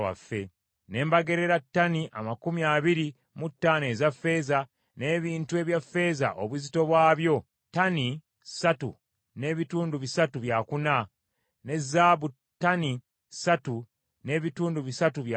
Ne mbagererera ttani amakumi abiri mu ttaano eza ffeeza, n’ebintu ebya ffeeza obuzito bwabyo ttani ssatu n’ebitundu bisatu byakuna, ne zaabu ttani ssatu n’ebitundu bisatu byakuna,